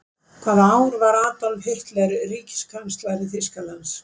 Hvaða ár varð Adolf Hitler ríkiskanslari Þýskalands?